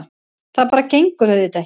Það bara gengur auðvitað ekki.